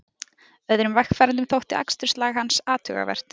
Öðrum vegfarendum þótti aksturslag hans athugavert